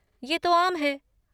ये तो आम है।